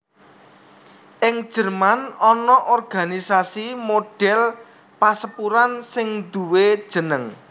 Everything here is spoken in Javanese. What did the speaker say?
Ing Jerman ana organisasi modèl pasepuran sing nduwé jeneng